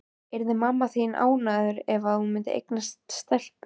Yrði mamma þín ánægðari ef hún eignaðist stelpu?